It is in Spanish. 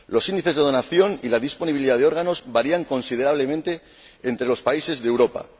Los índices de donación y la disponibilidad de órganos varían considerablemente entre los países de Europa.